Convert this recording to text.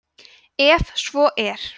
ef svo er